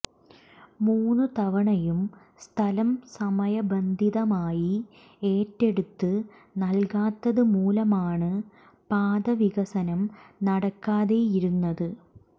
മൂന്ന് തവണയും സ്ഥലം സമയബന്ധിതമായി ഏറ്റെടുത്ത് നല്കാത്തത് മൂലമാണ് പാതവികസനം നടക്കാതെയിരുന്നത്